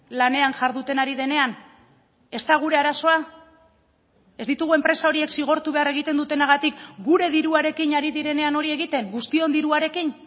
lanean jarduten ari denean ez da gure arazoa ez ditugu enpresa horiek zigortu behar egiten dutenagatik gure diruarekin ari direnean hori egiten guztion diruarekin